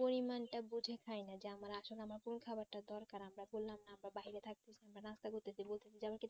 পরিমান তা বুঝে খাইনা যে আমরা আসলে আমাদের খাবার তা দরকার আমরা বললাম না বা বাহিরে থাকতে বা নাস্তা করতেছি